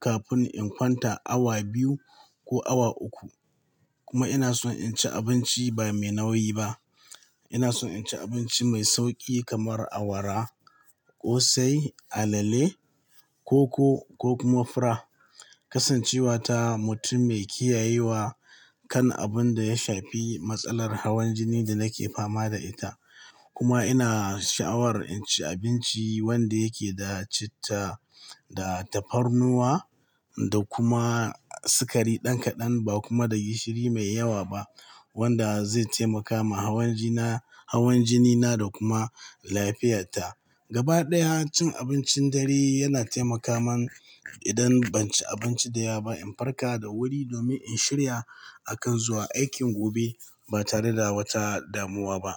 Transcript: kafin in kwanta awa biyu ko awa uku. Kuma ina son in ci abinci ba mai nauyi ba. Ina son in ci abinci mai sauƙi kamar awara, ƙosai, alale, koko ko kuma fura. Kasancewa ta mutum mai kiyayewa kan abun da ya shafi matsalar hawan jini da nake fama da ita, kuma ina sha'awar in ci abinci wanda yake da citta da tafarnuwa da kuma sukari ɗan kaɗan ba kuma da gishiri mai yawa ba wanda zai taimaka ma hawan jina, hawan jinina da kuma lafiyata. Gaba ɗaya cin abincin dare yana taimaka man idan ban ci abinci da yawa ba in farka da wuri domin in shirya akan zuwa aikin gobe ba tare da wata damuwa ba.